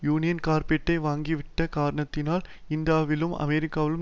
union கார்பைடை வாங்கிவிட்ட காரணத்தால் இந்தியாவிலும் அமெரிக்காவிலும்